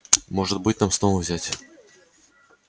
может быть нам снова взять